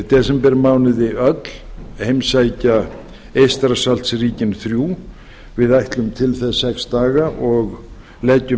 desembermánuði öll heimsækja eystrasaltsríkin þrjú við ætlum til þess sex daga og leggjum